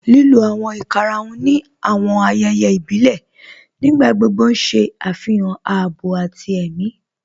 Lílò awọn ìkàràhùn ni awọn ayéyé ìbílẹ̀ nígbàgbogbo n ṣẹ afihàn àábọ̀ àti è̩mi.